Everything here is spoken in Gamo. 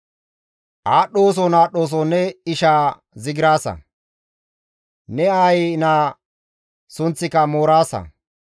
Aadhdhooson aadhdhooson ne ishaa zigiraasa; ne aayi naa sunththika mooraasa.